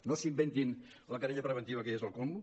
no s’inventin la querella preventiva que ja és el súmmum